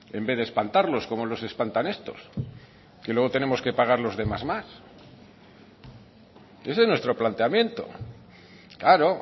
en vez de espantarlos como los espantan estos que luego tenemos que pagar los demás más ese es nuestro planteamiento claro